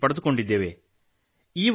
patent ಪಡೆದುಕೊಂಡಿದ್ದೇವೆ